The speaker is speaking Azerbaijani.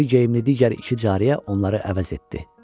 Mavi geyimli digər iki cariyə onları əvəz etdi.